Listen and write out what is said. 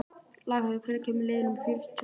Laugheiður, hvenær kemur leið númer fjögur?